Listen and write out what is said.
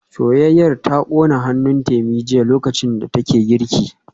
Soyayyar ta kona hannun Temi jiya lokacin da take girki